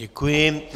Děkuji.